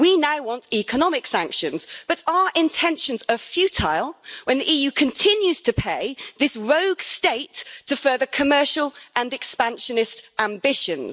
We now want economic sanctions, but our intentions are futile when the EU continues to pay this rogue state to further commercial and expansionist ambitions.